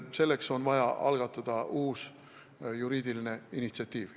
Selleks on vaja uut juriidilist initsiatiivi.